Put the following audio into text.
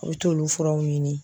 U t'olu furaw ɲini.